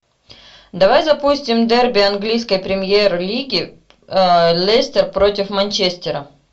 давай запустим дерби английской премьер лиги лестер против манчестера